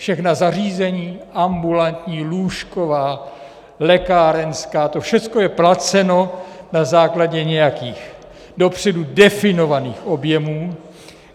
Všechna zařízení, ambulantní, lůžková, lékárenská - to všechno je placeno na základě nějakých dopředu definovaných objemů.